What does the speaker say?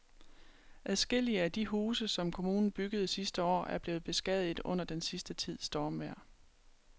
Adskillige af de huse, som kommunen byggede sidste år, er blevet beskadiget under den sidste tids stormvejr.